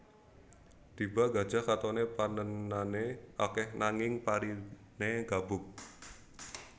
Tiba Gajah katoné panènané akèh nanging pariné gabug